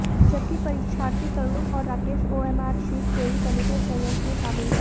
जबकि परीक्षार्थी तरुण और राकेश ओएमआर शीट चोरी करने के षड्यंत्र में शामिल थे